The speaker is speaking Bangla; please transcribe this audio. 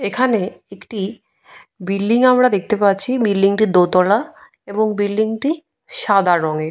এখানে একটি বিল্ডিং আমরা দেখতে পাচ্ছি। বিল্ডিংয়ের দোতলা এবং বিল্ডিংটি সাদা রঙের।